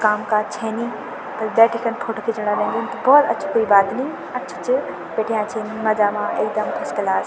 काम काज छे नी बल बैठिकन फोटो खीचणा रेन्दीन त भोत अच्छू कुई बात नी अच्छू चबैठ्याँ छिन मजा मा एकदम फर्स्ट क्लास ।